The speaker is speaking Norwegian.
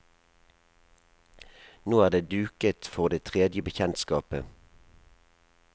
Nå er det duket for det tredje bekjentskapet.